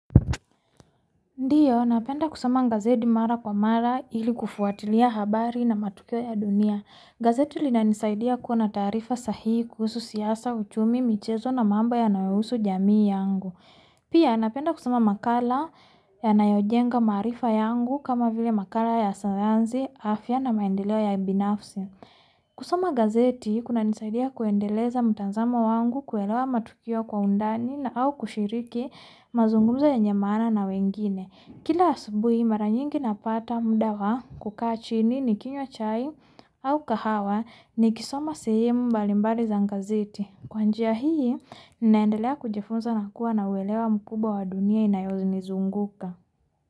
Ndiyo, napenda kusoma gazeti mara kwa mara ili kufuatilia habari na matukio ya dunia. Gazeti linanisaidia kuwa na taarifa sahii kuhusu siasa uchumi, michezo na mambo yanayohusu jamii yangu. Pia napenda kusoma makala ya nayojenga maarifa yangu kama vile makala ya sayansi afya na maendeleo ya binafsi. Kusoma gazeti kuna nisaidia kuendeleza mtanzamo wangu kuelewa matukio kwa undani na au kushiriki mazungumzo yenye maana na wengine. Kila asubuhi mara nyingi napata muda wa kukaa chini nikinywa chai au kahawa nikisoma sehemu mbalimbali za gazeti. Kwanjia hii ninaendelea kujifunza na kuwa na uelewa mkubwa wa dunia inayonizunguka.